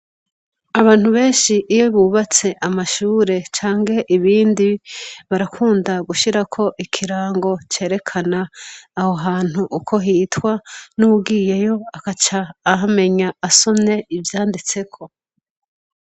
Abantu benshi iyo bubatse amashure cange ibindi barakunda gushirako ikirango cerekana aho hantu uko hitwa n'uwuwiyeyo akaca ahamenya asome ivyanditseko.